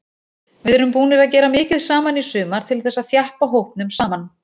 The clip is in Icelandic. Við erum búnir að gera mikið saman í sumar til þess að þjappa hópnum saman.